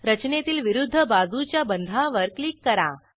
रचनेतील विरूध्द बाजूच्या बंधावर क्लिक करा